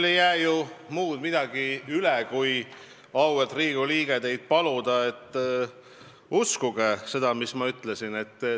Mul ei jää muud midagi üle, kui, auväärt Riigikogu liige, teid paluda: uskuge seda, mis ma ütlesin!